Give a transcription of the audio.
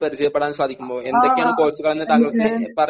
ആ ആ